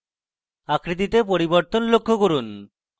আকৃতিতে পরিবর্তন লক্ষ্য করুন